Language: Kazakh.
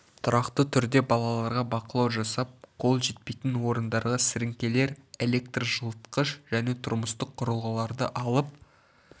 тұрақты түрде балаларға бақылау жасап қол жетпейтін орындарға сіріңкелер электр жылытқыш және тұрмыстық құрылғыларды алып